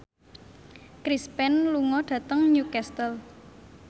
Chris Pane lunga dhateng Newcastle